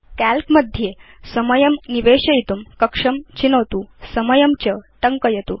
काल्क मध्ये समयं निवेशयितुं कक्षं चिनोतु समयं च टङ्कयतु